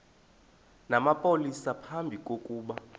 namapolisa phambi kokuba